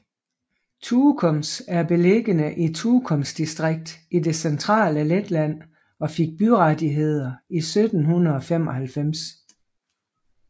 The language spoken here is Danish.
Tukums er beliggende i Tukums distrikt i det centrale Letland og fik byrettigheder i 1795